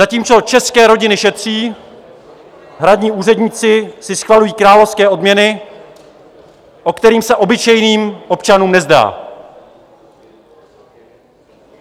Zatímco české rodiny šetří, hradní úředníci si schvalují královské odměny, o kterých se obyčejným občanům nezdá.